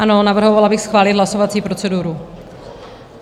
Ano, navrhovala bych schválit hlasovací proceduru.